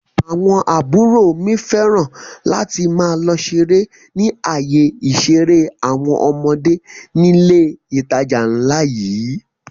Àwọn àbúrò mi fẹ́ràn láti máa lọ ṣeré ni ayé ìṣeré àwọn ọmọdé nílé ìtajà ńlá yìí